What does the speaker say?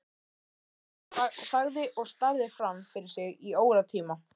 Jóhann þagði og starði fram fyrir sig í óratíma.